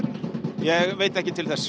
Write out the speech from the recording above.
ég veit ekki til þess